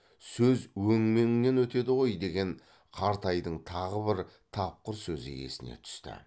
сөз өңменіңнен өтеді ғой деген қартайдың тағы бір тапқыр сөзі есіне түсті